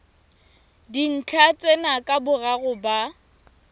dintlha tsena ka boraro ba